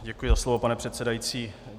Děkuji za slovo, pane předsedající.